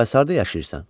Bəs harda yaşayırsan?